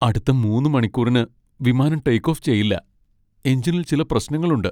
അടുത്ത മൂന്ന് മണിക്കൂറിന് വിമാനം ടേക്ക് ഓഫ് ചെയ്യില്ല. എഞ്ചിനിൽ ചില പ്രശ്നങ്ങളുണ്ട്.